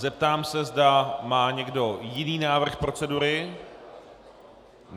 Zeptám se, zda má někdo jiný návrh procedury.